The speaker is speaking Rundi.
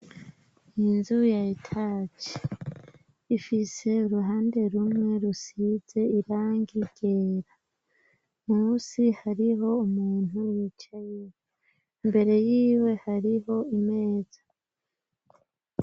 Inzu ya etaji ifise uruhande rumwe rusize irangi ryera, musi hariho umuntu wicaye, imbere yiwe hariho imeza.